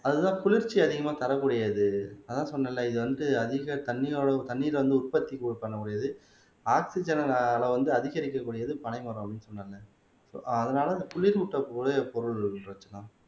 அதுதான் குளிர்ச்சி அதிகமா தரக்கூடியது அதான் சொன்னேன்ல இது வந்து அதிக தண்ணீதண்ணீர் வந்து உற்பத்தி பண்ணக்கூடியது ஆக்ஸிஜன் அளவு வந்து அதிகரிக்க கூடியது பனைமரம் அப்படீன்னு சொன்னாங்க ஆஹ் அதனால இந்த குளிரூட்டக்கூடிய பொருள் ரஞ்சனா